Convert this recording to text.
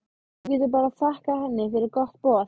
Þú getur bara þakkað henni fyrir gott boð.